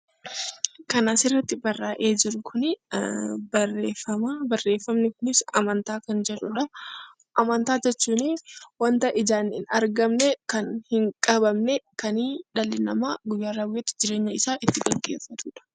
Amantaa jechuun wanta ijaan hin argamne kan hin qabamne kan dhalli namaa guyyaa guyyaatti jireenya isaa ittiin gaggeeffatudha